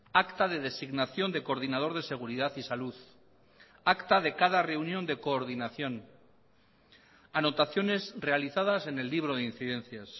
acta de designación de coordinador de seguridad y salud acta de cada reunión de coordinación anotaciones realizadas en el libro de incidencias